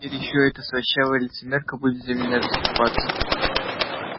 теперь ещё эта слащавая лицемерка будет за меня заступаться